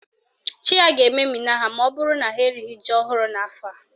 Chi ha ga-ememina ha maọbụrụ na ha erighi ji ọhụrụ n'afọ a.